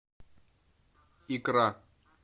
икра